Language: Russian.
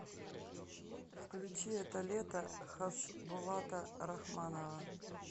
включи это лето хасбулата рахманова